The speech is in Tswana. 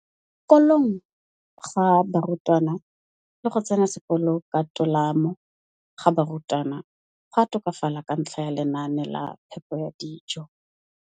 Kolong ga barutwana le go tsena sekolo ka tolamo ga barutwana go a tokafala ka ntlha ya lenaane la phepo ya dijo.